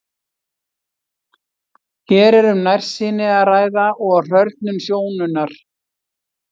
Hér er um nærsýni að ræða og hrörnun sjónunnar.